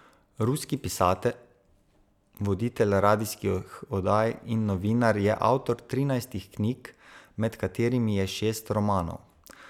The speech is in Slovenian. Ruski pisatelj, voditelj radijskih oddaj in novinar je avtor trinajstih knjig, med katerimi je šest romanov.